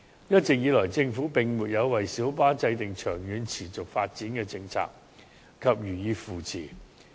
一直以來，政府並沒有為小巴制訂長遠持續發展的政策及予以扶持。